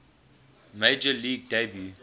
major league debut